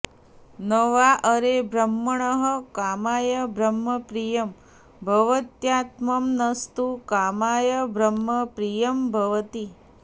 न वा अरे ब्रह्मणः कामाय ब्रह्म प्रियं भवत्यात्मनस्तु कामाय ब्रह्म प्रियं भवति